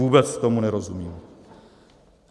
Vůbec tomu nerozumím.